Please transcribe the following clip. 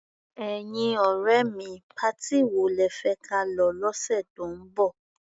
Ẹ̀yin ọ̀rẹ́ mi, patí wo lẹ fẹ́ ka lọ lọ́sẹ̀ tó ń bọ̀?